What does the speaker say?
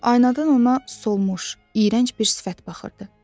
Aynadan ona solmuş, iyrənc bir sifət baxırdı.